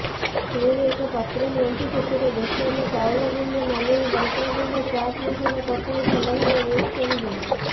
ପୁଣି ଏକ ପାତ୍ର ନିଅନ୍ତୁ ସେଥିରେ ବେସନ ଚାଉଳଗୁଣ୍ଡ ନାଲି ଲଙ୍କାଗୁଣ୍ଡ ଚାର୍ଟମସଲା ପକାଇ ଭଲଭାବେ ମିକ୍ସ କରିଦିଅନ୍ତୁ